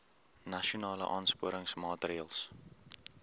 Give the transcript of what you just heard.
nasionale aansporingsmaatre ls